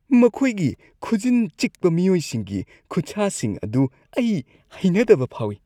ꯃꯈꯣꯏꯒꯤ ꯈꯨꯖꯤꯟ ꯆꯤꯛꯄ ꯃꯤꯑꯣꯏꯁꯤꯡꯒꯤ ꯈꯨꯠꯁꯥꯁꯤꯡ ꯑꯗꯨ ꯑꯩ ꯍꯩꯅꯗꯕ ꯑꯃ ꯐꯥꯎꯏ ꯫